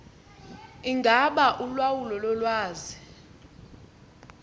ingaba ulawulo lolwazi